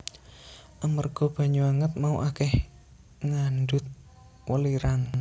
Amarga banyu anget mau akèh ngandhut welirang